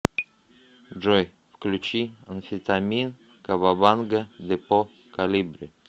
джой включи амфетамин кавабанга депо колибри